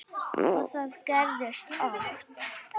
Og það gerðist oft.